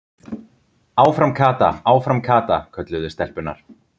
Áfram Kata, áfram Kata! kölluðu stelpurnar.